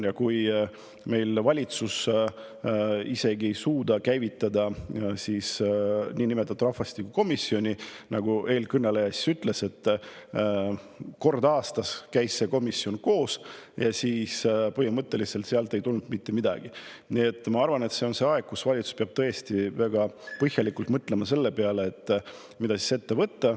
Ja kui meie valitsus ei suuda käivitada isegi rahvastikukomisjoni – nagu eelkõneleja ütles, see komisjon käis kord aastas koos ja põhimõtteliselt sealt ei tulnud mitte midagi –, siis ma arvan, et praegu on aeg, kus valitsus peab tõesti väga põhjalikult mõtlema selle peale, mida siis ette võtta.